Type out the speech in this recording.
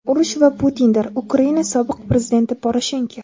urush va Putindir – Ukraina sobiq prezidenti Poroshenko.